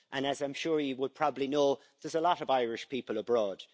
As I'm sure you probably know, there are a lot of Irish people abroad.